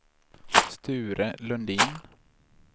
Sture Lundin